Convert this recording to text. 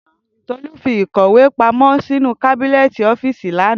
Tolu fi ikọwe pamọ sinu kàbínẹ́ẹ̀tì ọ́fíìsì lana.